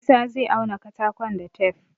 Isah zai auna katakon da tef